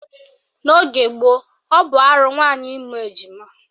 N'ogo gboo, ọ bụ arụ nwaanyị ịmụ ejima